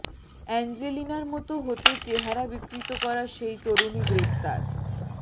অ্যাঞ্জেলিনার মতো হতে চেহারা বিকৃত করা সেই তরুণী গ্রেপ্তার